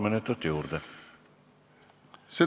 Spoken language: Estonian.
Palun!